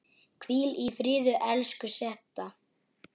Hvíl í friði, elsku Setta.